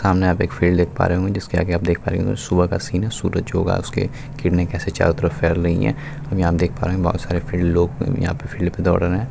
सामने आप एक फील्ड देख पा रहे होंगे जिस के आगे आप देख पा रहे होंगे सुबह का सीन है सूरज उगा है उसके किरणे कैसे चारों तरफ फैल रही है और यहाँ आप देख पा रहे हैं बहुत सारे फील्ड लोग भी यहा पे फील्ड पे दोड़ रहे हैं ।